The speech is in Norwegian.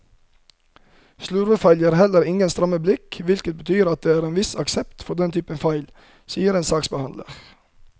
Slurvefeil gir heller ingen stramme blikk, hvilket betyr at det er en viss aksept for denne typen feil, sier en saksbehandler.